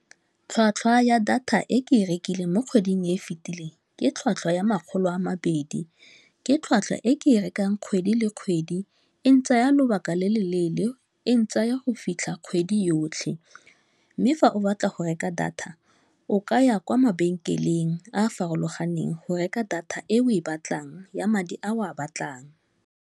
Tlhwatlhwa ya data e ke e rekileng mo kgweding e e fetileng ke tlhwatlhwa ya makgolo a mabedi, ke tlhwatlhwa e ke e rekang kgwedi le kgwedi, e ntsaya lobaka le le leele, e ntsha tsaya go fitlha kgwedi yotlhe, mme fa o batla go reka data o ka ya kwa mabenkeleng a a farologaneng go reka data e o e batlang ya madi a o a batlang.